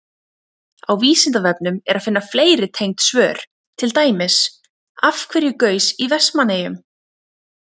Á Vísindavefnum er að finna fleiri tengd svör, til dæmis: Af hverju gaus í Vestmannaeyjum?